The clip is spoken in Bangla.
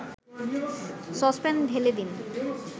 সসপ্যান ঢেলে দিন